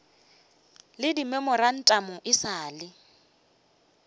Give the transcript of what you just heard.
le dimemorantamo e sa le